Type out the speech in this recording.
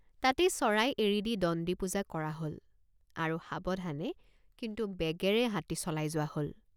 তাতেই চৰাই এৰি দি দণ্ডি পুজা কৰা হল আৰু সাৱধানে কিন্তু বেগেৰে হাতী চলাই যোৱা হল।